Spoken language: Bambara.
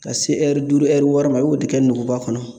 Ka se ɛri duuru ɛri wɔɔrɔ ma a b'o de kɛ nuguba kɔnɔ